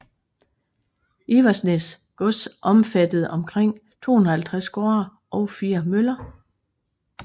Iversnæs gods omfattede omkring 250 gårde og 4 møller